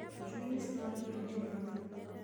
Njui nĩ ciroragirwo nĩ thuraku